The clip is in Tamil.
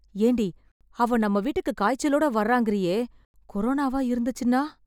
ஏண்டி, அவ நம்ம வீட்டுக்கு காய்ச்சலோட வர்றாங்கறீயே... கொரோனாவா இருந்துச்சுன்னா....